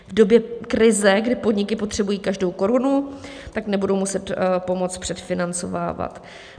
V době krize, kdy podniky potřebují každou korunu, tak nebudou muset pomoc předfinancovávat.